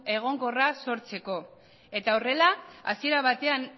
egonkorra sortzeko eta horrela hasiera batean